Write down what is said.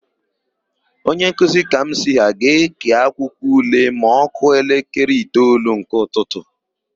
Onyenkuzi Kamsi ha ga-ékè akwụkwọule ma ọ kụọ elekere itoolu nke ụtụtụ.